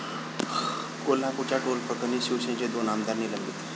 कोल्हापूरच्या टोलप्रकरणी शिवसेनेचे दोन आमदार निलंबित